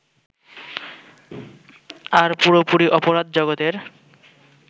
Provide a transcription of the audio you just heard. আর পুরোপুরি অপরাধ-জগতের